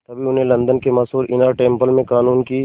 तभी उन्हें लंदन के मशहूर इनर टेम्पल में क़ानून की